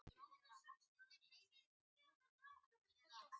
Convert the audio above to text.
Nokkrir drukku of stíft á Akureyri